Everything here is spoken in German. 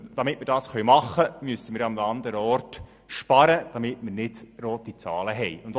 Damit das möglich ist, muss in einem anderen Bereich gespart werden, damit wir nicht in die roten Zahlen geraten.